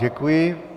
Děkuji.